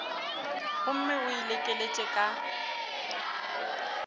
gomme o e lekeletše ka